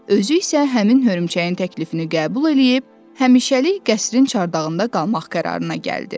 Özü isə həmin hörümçəyin təklifini qəbul eləyib həmişəlik qəsrin çarçağında qalmaq qərarına gəldi.